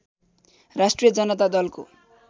राष्ट्रिय जनता दलको